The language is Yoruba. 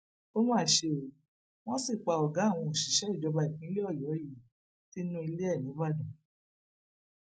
ó mà ṣe o wọ́n sì pa ọgá àwọn òṣìṣẹ ìjọba ìpínlẹ ọyọ yìí nínú ilé ẹ nìbàdàn